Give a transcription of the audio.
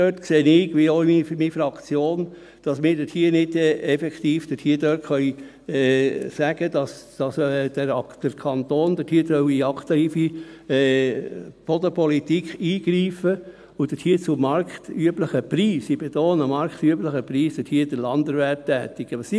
Dort sehe ich wie auch meine Fraktion, dass wir effektiv nicht sagen können, dass der Kanton dort aktiv in die Bodenpolitik eingreifen soll und dort zu marktüblichen Preisen – ich betone: marktüblichen Preisen – Landerwerb tätigen soll.